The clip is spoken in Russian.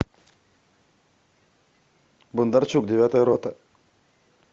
бондарчук девятая рота